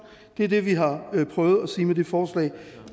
det er det vi har prøvet at sige med det forslag